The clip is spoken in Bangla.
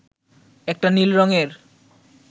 একটা নীল রঙের